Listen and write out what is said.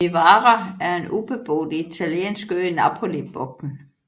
Vivara er en ubeboet italiensk ø i Napolibugten